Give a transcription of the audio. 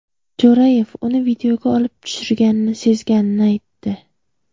Jo‘rayev uni videoga olib turishganini sezganini aytdi.